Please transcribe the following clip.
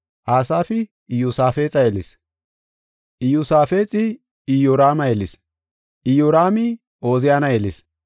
Asaafi Iyosaafexa yelis; Iyosaafexi Iyoraama yelis; Iyoraami Ooziyana yelis;